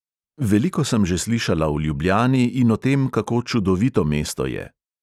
Veliko sem že slišala o ljubljani in o tem, kako čudovito mesto je.